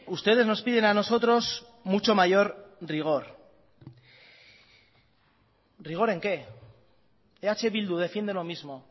ustedes nos piden a nosotros mucho mayor rigor rigor en que eh bildu defiende lo mismo